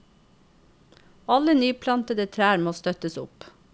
Alle nyplantede trær må støttes opp.